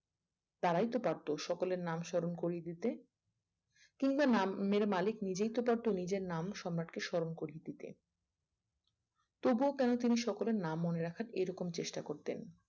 তারাই তো পারতো সকলের নাম সোনার করিয়ে দিতে কিংবা নাম মেরে মালিক নিজেই তো পারতো নিজের নাম সম্রাটকে সোনার করিয়ে দিতে তবুও কেনো তিনি সকলের নাম মনে রাখার এরকম চেষ্টা করতেন